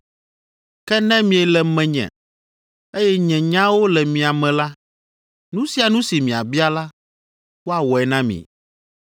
Ke ne miele menye, eye nye nyawo le mia me la, nu sia nu si miabia la, woawɔe na mi.